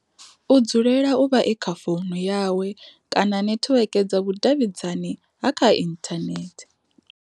U dzulela u vha e kha founu yawe kana netiweke dza vhu davhidzani ha kha inthanethe.